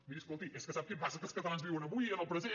miri escolti és que sap què passa que els catalans viuen avui en el present